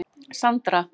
Sandra